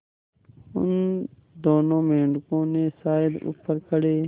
उन दोनों मेढकों ने शायद ऊपर खड़े